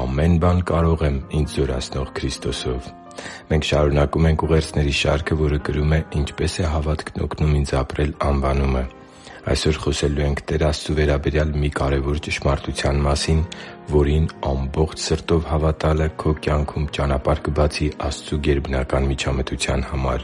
Ամեն բան կարող եմ ինձ զորացնող Քրիստոսով․․․ Մենք շարունակում ենք ուղերձների շարքը, որը կրում է«Ինչպե՞ս է հավատքն օգնում ինձ ապրել»անվանումը։ Այսօր խոսելու ենք Տեր Աստծու վերաբերյալ մի կարևորագույն ճշմարտության մասին, որին ամբողջ սրտով հավատալը քո կյանքում ճանապարհ կբացի Աստծու գերբնական միջամտության համար։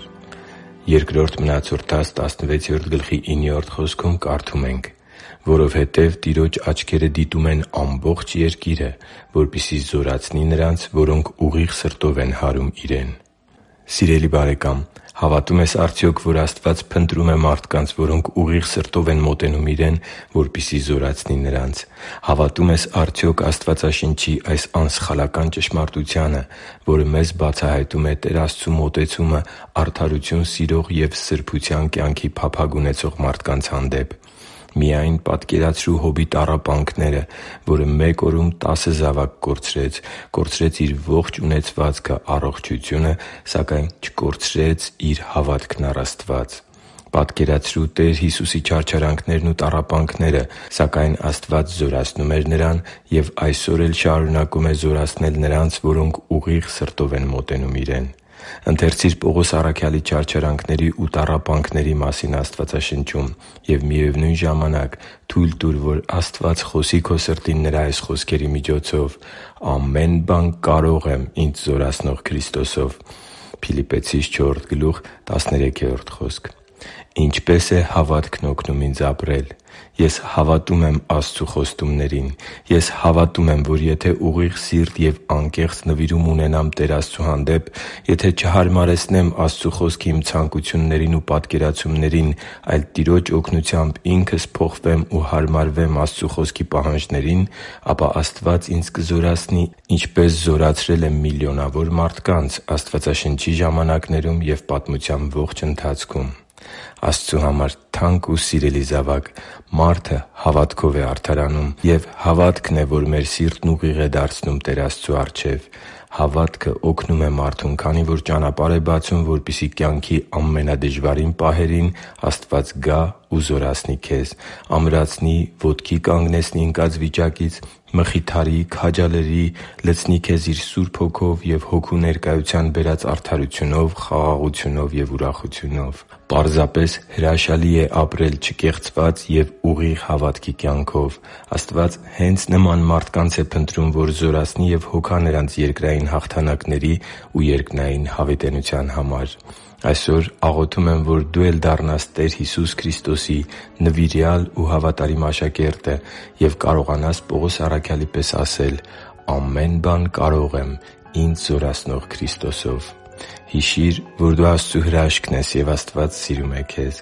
«․․․որովհետև Տիրոջ աչքերը դիտում են ամբողջ երկիրը, որպեսզի զորացնի նրանց, որոնք ուղիղ սրտով հարում են Իրեն» (Բ Մնացորդաց 16.9): Սիրելի՛ բարեկամ, հավատո՞ւմ ես արդյոք, որ Աստված փնտրում է մարդկանց, որոնք ուղիղ սրտով են մոտենում Իրեն, որպեսզի զորացնի նրանց։ Հավատո՞ւմ ես արդյոք Աստվածաշնչի այս անսխալական ճշմարտությանը, որը մեզ բացահայտում է Տեր Աստծու մոտեցումը արդարություն սիրող և սրբության կյանքի փափագ ունեցող մարդկանց հանդեպ։ Միայն պատկերացրու Հոբի տառապանքները, որը մեկ օրում տասը զավակ կորցրեց, կորցրեց իր ողջ ունեցվածքը, առողջությունը, սակայն չկորցրեց իր հավատքն առ Աստված։ Պատկերացրու Տեր Հիսուսի չարչարանքներն ու տառապանքները։ Սակայն Աստված զորացնում էր և այսօր էլ շարունակում է զորացնել նրանց, որոնք ուղիղ սրտով են մոտենում Իրեն։ Ընթերցի՛ր Պողոս առաքյալի չարչարանքների ու տառապանքների մասին Աստվածաշնչում և, միևնույն ժամանակ, թույլ տուր, որ Աստված խոսի քո սրտին նրա այս խոսքերի միջոցով․ «Ամեն բան կարող եմ ինձ զորացնող Քրիստոսով» (Փիլիպպեցիս 4․13): Ինչպե՞ս է հավատքն օգնում ինձ ապրել։ Ես հավատում եմ Աստծու խոստումներին։ Ես հավատում եմ, որ եթե ուղիղ սիրտ և անկեղծ նվիրում ունենամ Տեր Աստծու հանդեպ, եթե չհարմարեցնեմ Աստծու Խոսքը իմ ցանկություններին ու պատկերացումներին, այլ Տիրոջ օգնությամբ ինքս փոխվեմ ու հարմարվեմ Աստծու Խոսքի պահանջներին, ապա Աստված ինձ կզորացնի, ինչպես զորացրել է միլիոնավոր մարդկանց Աստվածաշնչի ժամանակներում կամ պատմության ողջ ընթացքում։ Աստծու համար թանկ ու սիրելի՛ զավակ, մարդը հավատքով է արդարանում, և հավատքն է, որ մեր սիրտն ուղիղ է դարձնում Տեր Աստծու առջև։ Հավատքը օգնում է մարդուն, քանի որ ճանապարհ է բացում, որպեսզի կյանքի ամենադժվարին պահերին Աստված գա ու զորացնի քեզ՝ ամրացնի, ոտքի կանգնեցնի ընկած վիճակից, մխիթարի, քաջալերի, լցնի քեզ Իր Սուրբ Հոգով և Հոգու ներկայության բերած արդարությունով, խաղաղությունով և ուրախությունով։ Պարզապես հրաշալի է ապրել չկեղծված և ուղիղ հավատքի կյանքով։ Աստված հե՛նց նման մարդկանց է փնտրում, որ զորացնի և հոգա նրանց երկրային հաղթանակների ու երկնային հավիտենության համար։ Այսօր աղոթում եմ, որ դու էլ դառնաս Տեր Հիսուս Քրիստոսի նվիրյալ ու հավատարիմ աշակերտը և կարողանաս Պողոս առաքյալի պես ասել «Ամեն բան կարող եմ ինձ զորացնող Քրիստոսով»։ Հիշի՛ր, որ դու Աստծո հրաշքն ես, և Աստված սիրում է քեզ։